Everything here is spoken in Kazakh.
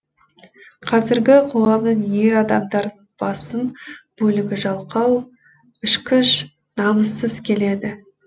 қазіргі қоғамның ер адамдарының басым бөлігі жалқау ішкіш намыссыз келеді